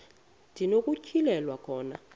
ndi nokutyhilelwa khona